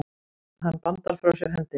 Hann bandar frá sér hendinni.